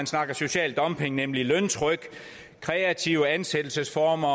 snakker social dumping nemlig løntryk kreative ansættelsesformer